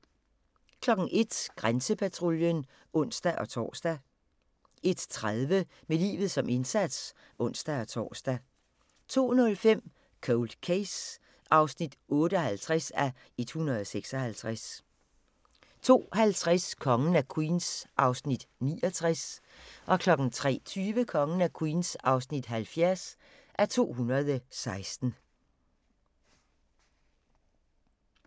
01:00: Grænsepatruljen (ons-tor) 01:30: Med livet som indsats (ons-tor) 02:05: Cold Case (58:156) 02:50: Kongen af Queens (69:216) 03:20: Kongen af Queens (70:216)